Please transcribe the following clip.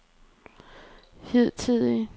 hidtidige